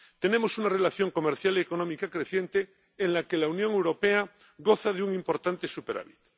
Tenemos una relación comercial y económica creciente en la que la Unión Europea goza de un importante superávit.